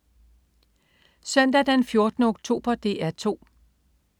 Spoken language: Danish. Søndag den 14. oktober - DR 2: